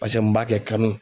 Paseke mun b'a kɛ kanu.